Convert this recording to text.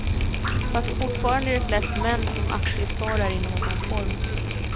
Fast fortfarande är det flest män som aktiesparar i någon form.